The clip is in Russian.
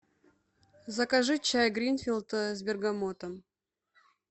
закажи чай гринфилд с бергамотом